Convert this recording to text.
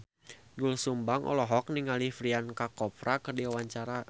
Doel Sumbang olohok ningali Priyanka Chopra keur diwawancara